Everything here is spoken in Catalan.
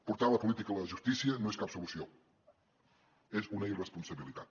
portar la política a la justícia no és cap solució és una irresponsabilitat